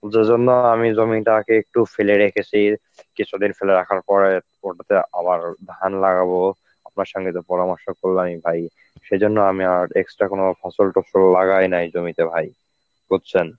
এজন্য আমি জমিটাকে একটু ফেলে রেখেছি, কিছুদিন ফেলে রাখার পরে ওটাতে আবার ধান লাগাবো. আপনার সঙ্গে তো পরামর্শ করলামই ভাই. সেজন্য আমি আর extra কোন ফসল টসল লাগায় নাই জমিতে ভাই, বুঝছেন?